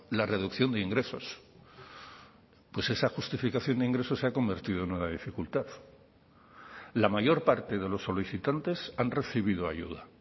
la reducción de ingresos pues esa justificación de ingresos se ha convertido en una dificultad la mayor parte de los solicitantes han recibido ayuda